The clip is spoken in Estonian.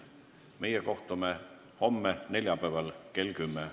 Meie kohtume homme kell 10.